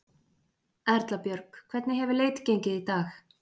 Erla Björg: Hvernig hefur leit gengið í dag?